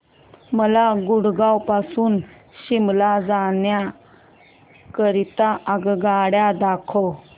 मला गुरगाव पासून शिमला जाण्या करीता आगगाड्या दाखवा